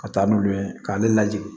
Ka taa n'olu ye k'ale lajigin